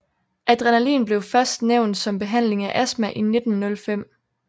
Adrenalin blev først nævnt som behandling af astma i 1905